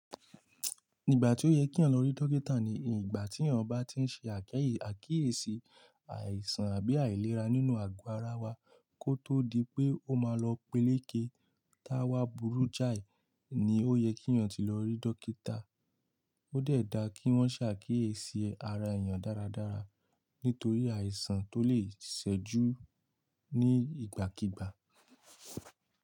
Nígbà tí ó yẹ kí lọ rí dókítà ni ìgbà tí eyan bá tí ń ṣe àkíyèsí àìsàn àbí àìlera nínú àgọ́ ara wa kó tó di pé ó máa lọ peleke táwà burú jáì, ni ó yẹ kí eyan ti lọ rí dókítà. Ó de dá kí wọ́n ṣàkíyèsí ara èyàn dáradára nítorí àìsàn tó lè ṣẹ́jú ní ìgbàkígbà.